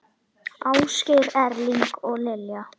Ásgeir Erling og Lilja.